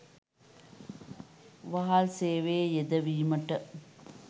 වහල් සේවයේ යෙදවීමට